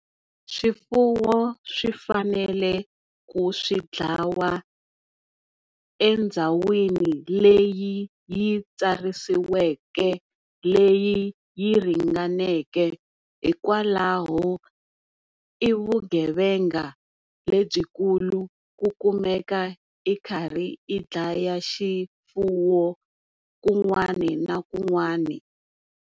Swifuwo swi fanele ku swi dlawa endhawini leyi yi tsarisiweke leyi yi ringaneke hikwalaho i vugevenga lebyikulu ku kumeka i karhi i dlaya xifuwo kun'wani na kun'wani.